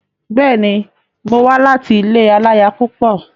Bẹ́ẹ̀ni, mo wá láti ilé aláya púpọ̀.